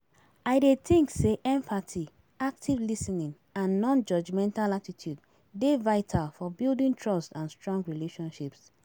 I dey think say empathy, active lis ten ing and non-judgmental attitude dey vital for building trust and strong relationships.